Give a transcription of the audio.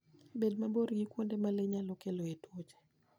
Bed mabor gi kuonde ma le nyalo keloe tuoche.